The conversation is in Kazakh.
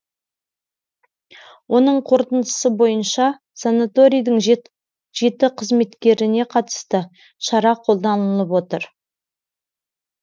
оның қорытындысы бойынша санаторийдің жеті қызметкеріне қатысты шара қолданылып отыр